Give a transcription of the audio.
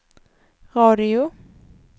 radio